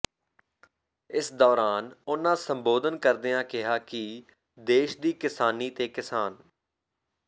ਇਸ ਦੌਰਾਨ ਉਨ੍ਹਾਂ ਸੰਬੋਧਨ ਕਰਦਿਆਂ ਕਿਹਾ ਕਿ ਦੇਸ਼ ਦੀ ਕਿਸਾਨੀ ਤੇ ਕਿਸਾਨ